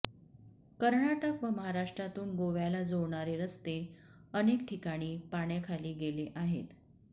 कर्नाटक व महाराष्ट्रातून गोव्याला जोडणारे रस्ते अनेक ठिकाणी पाण्याखाली गेले आहेत